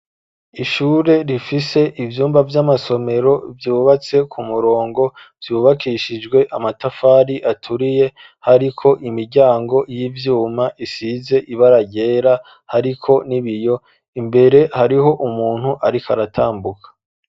Ishure rifise ivyumba vy'amasomero vyubatse ku murongo ,vyubakishijwe amatafari aturiye, hariko imiryango y'ivyuma isize ibara ryera hariko n'ibiyo, imbere hariho umuntu ariko aratambuka.